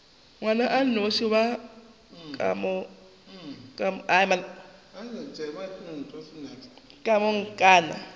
ngwana a nnošinoši wa komangkanna